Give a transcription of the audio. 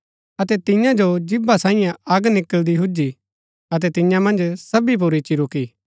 अतै तियां जो जीभा साईयें अग निकळदी हुजी अतै तियां मन्ज सबी पुर इच्ची रूकी